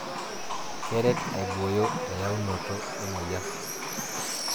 Keret aiboyo eyaunoto emoyian.